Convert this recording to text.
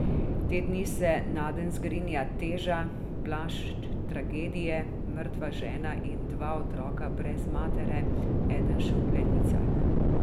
Te dni se nadenj zgrinja teža, plašč tragedije, mrtva žena in dva otroka brez matere, eden še v plenicah.